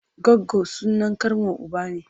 Goggo sunan ƙanwar uba ne.